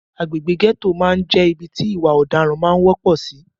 Agbègbè gẹ́tò máà ń jẹ́ ibi tí ìwà ọ̀daran máà ń wọ́pọ̀ sì.